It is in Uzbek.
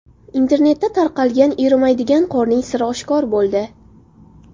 Internetda tarqalgan erimaydigan qorning siri oshkor bo‘ldi .